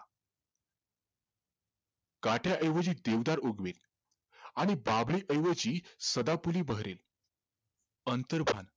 काट्याऐवजी देवदार उगवेल आणि बाभळी ऐवजी सदाफुली बहरेल अंतर्भान